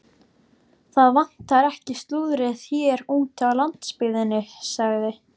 Það vantar ekki slúðrið hér úti á landsbyggðinni sagði